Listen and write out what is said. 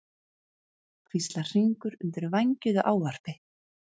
hvíslar Hringur undir vængjuðu ávarpi.